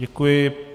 Děkuji.